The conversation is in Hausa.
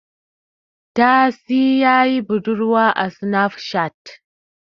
Tasi ya yi budurwa a sinaf cat